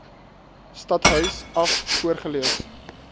stadhuis af voorgelees